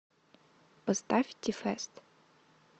поставь ти фэст